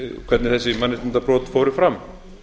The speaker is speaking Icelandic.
hvernig þessi mannréttindabrot fóru fram